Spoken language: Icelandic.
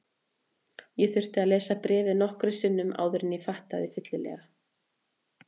Ég þurfti að lesa bréfið nokkrum sinnum áður en ég áttaði mig fyllilega.